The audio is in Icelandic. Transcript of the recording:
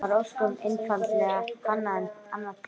Það var ósköp einfaldlega annað Tré!